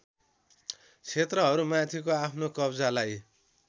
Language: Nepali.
क्षेत्रहरूमाथिको आफ्नो कब्जालाई